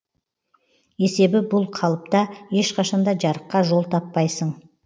есебі бұл қалыпта ешқашан да жарыққа жол таппайсың